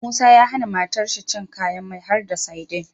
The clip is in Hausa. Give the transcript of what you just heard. Musa ya hAna matar shi cin kayan mai harda sadin